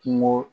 Kungo